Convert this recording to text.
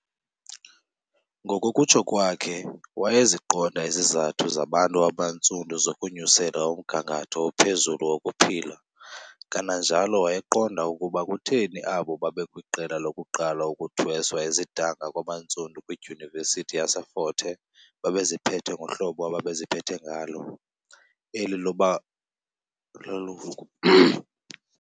Ngokokutsho kwakhe, wayeziqonda izizathu zabantu abantsundu zokunyusela umgangatho ophezulu wokuphila kananjalo wayeqonda ukuba kutheni abo babekwiqela lokuqala ukuthweswa izidanga kwabantsundu kwidyunivesithi yaseFort Hare babeziphathe ngohlobo ababeziphatha ngalo, eli loba leloku